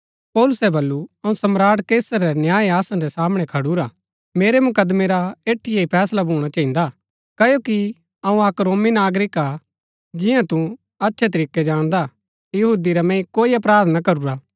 पौलुसै बल्लू अऊँ सम्राट कैसर रै न्याय आसन रै सामणै खडुरा मेरै मुकदमैं रा ऐठीये ही फैसला भूणा चहिन्दा क्ओकि अऊँ अक रोमी नागरिक हा जिंआं तु अच्छै तरीकै जाणदा यहूदी रा मैंई कोई अपराध ना करूरा